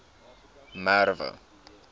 merwe